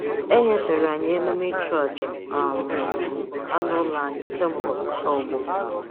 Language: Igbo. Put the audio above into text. Enyefere anyị emume ịchụ-aja um anụ ụlọ anyị kemgbe ọtụtụ ọgbọ